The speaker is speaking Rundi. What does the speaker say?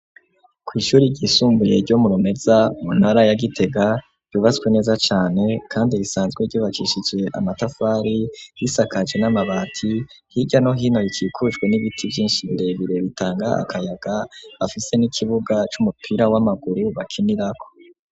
Ku ishure ryisumbuye ryo murumeza muntara ya gitega ryubatswe neza cane kandi risanzwe ryubakishizwe amatafari risakaje n'amabati hija no hino rikikujwe n'ibiti vyinshi birebire bitanga akayaga bafise n'ikibuga c'umupira w'amaguru bakinira ko.